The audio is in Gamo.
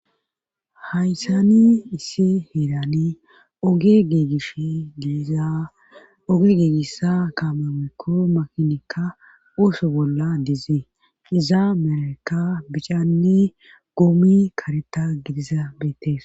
hayssani issi hillani oge geegish diizaa oge geegissa kaamamekko makinikka uuso bolla dizi iza merekka bicanne goomi kareta gidiza beetes